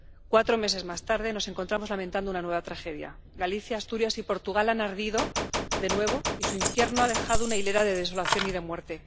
Cuatro meses más tarde, nos encontramos lamentando una nueva tragedia Galicia, Asturias y Portugal han ardido de nuevo y su infierno ha dejado una hilera de desolación y de muerte.